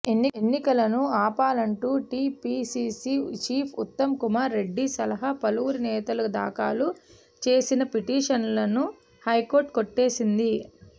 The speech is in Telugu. ఎన్నికలను ఆపాలంటూ టీపీసీసీ చీఫ్ ఉత్తమ్ కుమార్ రెడ్డి సహా పలువురు నేతలు దాఖలు చేసిన పిటిషన్లను హైకోర్ట్ కొట్టేసింది